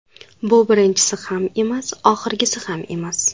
Bu birinchisi ham emas, oxirgisi ham emas”.